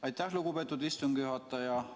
Aitäh, lugupeetud istungi juhataja!